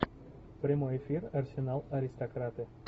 прямой эфир арсенал аристократы